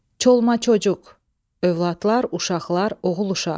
Çolma-çocuq, övladlar, uşaqlar, oğul-uşaq.